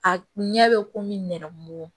A kun ɲɛ bɛ komi nɛrɛmuguma